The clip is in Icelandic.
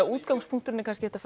útgangspunkturinn er kannski